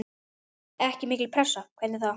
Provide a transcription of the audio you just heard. Ekki mikil pressa, hvernig þá?